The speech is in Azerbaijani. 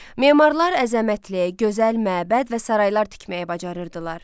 Memarlar əzəmətli, gözəl məbəd və saraylar tikməyi bacarırdılar.